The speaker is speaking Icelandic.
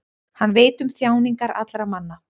Hann veit um þjáningar allra manna.